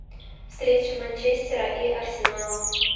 встреча манчестера и арсенала